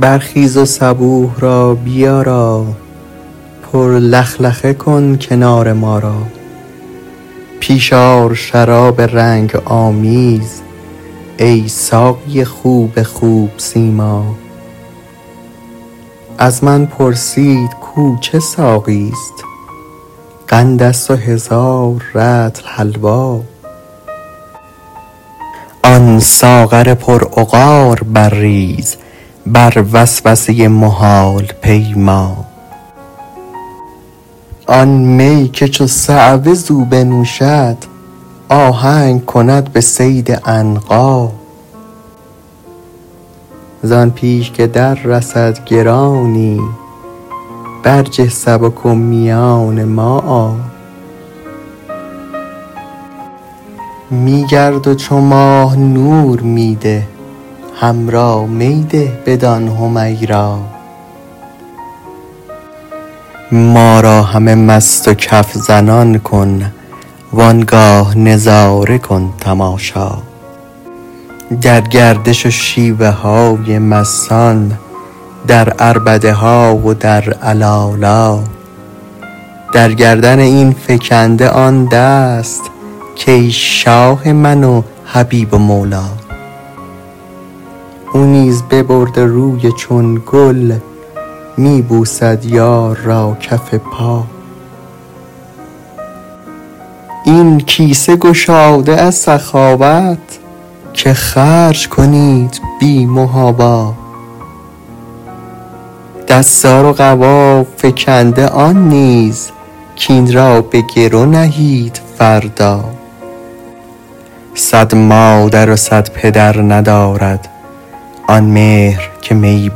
برخیز و صبوح را بیارا پر لخلخه کن کنار ما را پیش آر شراب رنگ آمیز ای ساقی خوب خوب سیما از من پرسید کو چه ساقیست قندست و هزار رطل حلوا آن ساغر پرعقار برریز بر وسوسه محال پیما آن می که چو صعوه زو بنوشد آهنگ کند به صید عنقا زان پیش که دررسد گرانی برجه سبک و میان ما آ می گرد و چو ماه نور می ده حمرا می ده بدان حمیرا ما را همه مست و کف زنان کن وان گاه نظاره کن تماشا در گردش و شیوه های مستان در عربده های در علالا در گردن این فکنده آن دست کان شاه من و حبیب و مولا او نیز ببرده روی چون گل می بوسد یار را کف پا این کیسه گشاده از سخاوت که خرج کنید بی محابا دستار و قبا فکنده آن نیز کاین را به گرو نهید فردا صد مادر و صد پدر ندارد آن مهر که می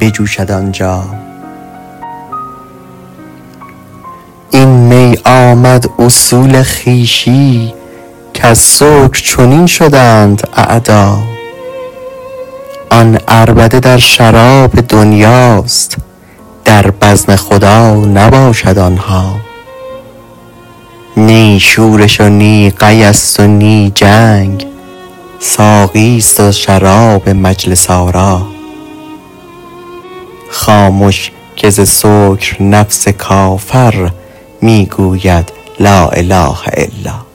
بجوشد آنجا این می آمد اصول خویشی کز سکر چنین شدند اعدا آن عربده در شراب دنیاست در بزم خدا نباشد آن ها نی شورش و نی قیست و نی جنگ ساقیست و شراب مجلس آرا خامش که ز سکر نفس کافر می گوید لا اله الا